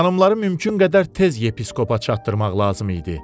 Xanımları mümkün qədər tez yepiskopa çatdırmaq lazım idi.